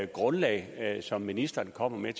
grundlag som ministeren kommer med